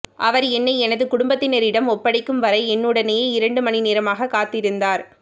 அவா் என்னை எனது குடும்பத்தினரிடம் ஒப்படைக்கும் வரை என்னுடனேயே இரண்டு மணிநேரமாகக் காத்திருந்தாா்